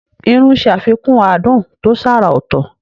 Irú ń ṣe àfikún adùn tó ṣàrà ọ̀tọ̀.